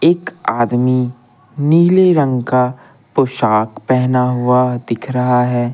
एक आदमी नीले रंग का पोशाक पहना हुआ दिख रहा है।